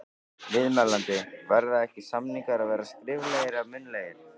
Viðmælandi: Verða ekki, samningar að vera skriflegir eða munnlegir?